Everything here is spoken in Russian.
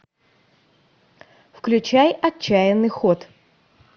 включай отчаянный ход